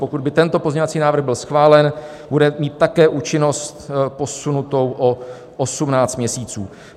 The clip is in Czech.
Pokud by tento pozměňovací návrh byl schválen, bude mít také účinnost posunutou o 18 měsíců.